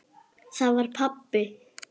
Það var pabbi!